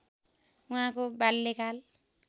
उहाँको बाल्यकाल